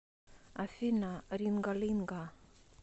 афина ринга линга